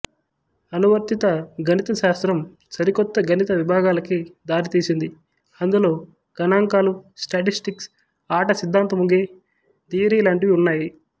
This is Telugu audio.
అనువర్తిత గణిత శాస్త్రం సరికొత్త గణిత విభాగాలకి దారి తీసింది అందులో గణాంకాలుస్టాటిస్టిక్స్ ఆట సిద్దాంతముగేం థియరి లాంటివి ఉన్నాయి